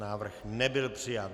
Návrh nebyl přijat.